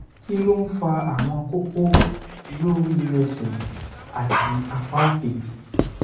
kí ló ń fa àwọn koko lori ese àti apá òkè